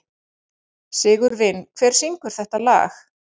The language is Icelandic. Sigurvin, hver syngur þetta lag?